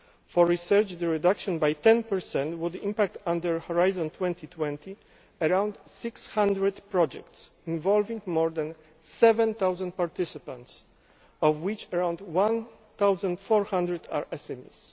For research, the reduction by 10 would impact, under Horizon 2020, on around 600 projects, involving more than 7000 participants, of which around 1400 are SMEs.